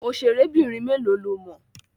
Òṣèrébìnrin mélòó lo mọ̀?